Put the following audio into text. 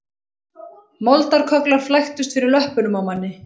Moldarkögglar flæktust fyrir löppunum á manni